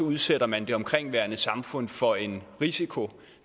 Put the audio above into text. udsætter man det omkringliggende samfund for en risiko